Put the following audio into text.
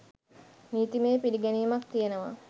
නීතිමය පිළිගැනීමක් තියෙනවා.